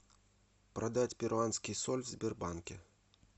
продать перуанский соль в сбербанке